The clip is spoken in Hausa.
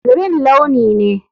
Green launi ne.